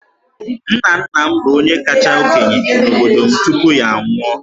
Nna nna m bụ onye kacha okenye n'obodo m tupu ya anwụọ.